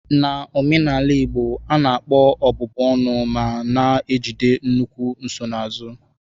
N'omenala Igbo, a na-akpọ ọbụbụ ọnụ ma na-ejide nnukwu nsonaazụ.